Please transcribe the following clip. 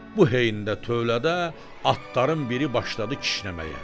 Bu heydə tövlədə atların biri başladı kişnəməyə.